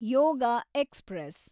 ಯೋಗ express